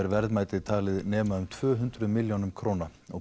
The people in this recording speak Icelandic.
verðmætið er talið nema um tvö hundruð milljónum króna